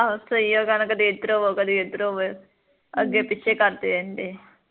ਸਹੀ ਆ ਉਹਨਾ ਕਹਿਨਾ ਕਦੀ ਇੱਧਰ ਹੋਵੋ ਕਦੀ ਇੱਧਰ ਹੋਵੋ ਅੱਗੇ ਪਿੱਛੇ ਕਰਦੇ ਰਹਿੰਦੇ